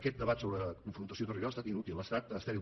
aquest debat sobre confrontació territorial ha estat inútil ha estat estèril